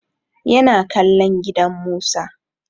Ya na kallon gidan Musa.